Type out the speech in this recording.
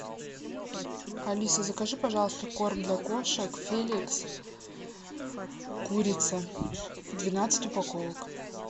алиса закажи пожалуйста корм для кошек феликс курица двенадцать упаковок